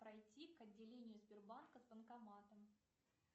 пройти к отделению сбербанка с банкоматом